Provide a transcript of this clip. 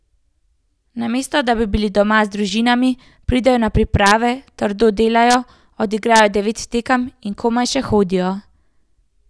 Namesto da bi bili doma z družinami, pridejo na priprave, trdo delajo, odigrajo devet tekem in komaj še hodijo.